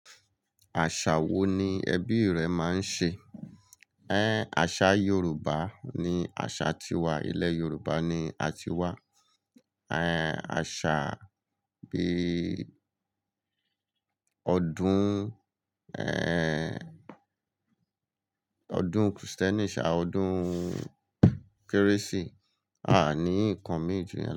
Àṣà wo ni ẹbí rẹ máa ń ṣe? Àṣà Yoruba ni àṣà tiwa, ilẹ̀ Yoruba ni a ti wá. Eh, àṣà bí ọdún, ọdún Christian ṣà ọdún Kérésì, aa ní nǹkan míì ju yẹn.